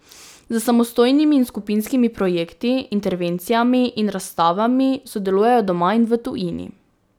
S samostojnimi in skupinskimi projekti, intervencijami in razstavami sodeluje doma in v tujini.